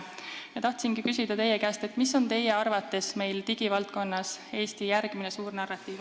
Ma tahangi teie käest küsida, mis on teie arvates digivaldkonnas Eesti järgmine suur narratiiv.